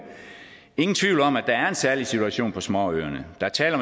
ingen tvivl om at der er en særlig situation på småøerne der er tale